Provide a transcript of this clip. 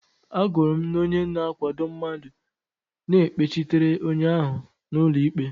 Agụrụ m na onye na-akwado mmadụ na-ekpechitere onye ahụ n'ụlọ ikpe.